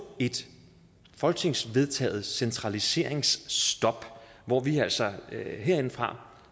et folketingsvedtaget centraliseringsstop hvor vi altså herindefra